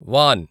van